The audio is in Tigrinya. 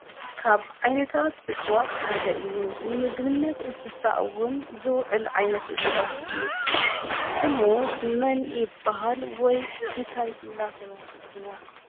ካብ ዓይነታት እፅዋት ሓደ እዩ ንምግብነት እንስሳ ዝውዕል ዓይነት እፅዋት እዩ። ስሙ መን ይብሃል? ወይ እንታይ እናተበሃለ ይፅዋዕ?